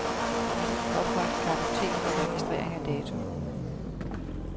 Opret kartotek for registrering af dato.